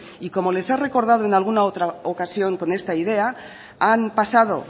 y como les he recordado en alguna otra ocasión con esta idea han pasado